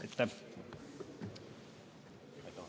Aitäh!